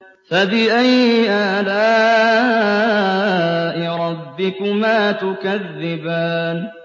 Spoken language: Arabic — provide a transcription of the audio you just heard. فَبِأَيِّ آلَاءِ رَبِّكُمَا تُكَذِّبَانِ